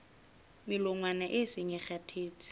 melongwana e seng e kgathetse